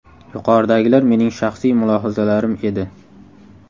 Yuqoridagilar mening shaxsiy mulohazalarim edi.